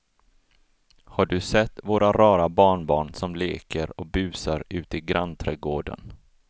Har du sett våra rara barnbarn som leker och busar ute i grannträdgården!